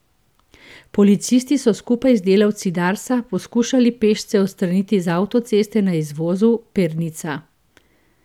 Policisti so skupaj z delavci Darsa poskušali pešce odstraniti z avtoceste na izvozu Pernica.